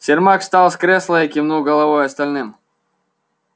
сермак встал с кресла и кивнул головой остальным